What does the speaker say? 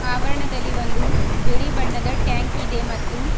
ಆವರಣದಲ್ಲಿ ಒಂದು ಬಿಳಿ ಬಣ್ಣದ ಟ್ಯಾಂಕ್ ಇದೆ ಮತ್ತು.